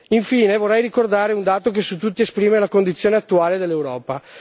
Infine, vorrei ricordare un dato che su tutti esprime la condizione attuale dell'Europa.